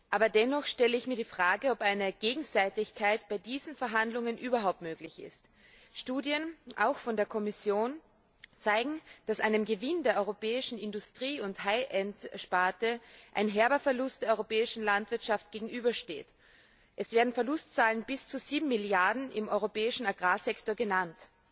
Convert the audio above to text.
Aber dennoch stelle ich mir die Frage, ob eine Gegenseitigkeit bei diesen Verhandlungen überhaupt möglich ist. Studien, auch der Kommission, zeigen, dass einem Gewinn der europäischen Industrie und High end Sparte ein herber Verlust der europäischen Landwirtschaft gegenübersteht. Es werden Verlustzahlen bis zu 7 Milliarden Euro im europäischen Agrarsektor genannt.